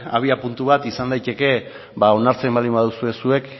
abiapuntu bat izan daiteke onartzen baldin baduzue zuek